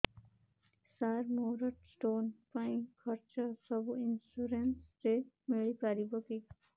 ସାର ମୋର ସ୍ଟୋନ ପାଇଁ ଖର୍ଚ୍ଚ ସବୁ ଇନ୍ସୁରେନ୍ସ ରେ ମିଳି ପାରିବ କି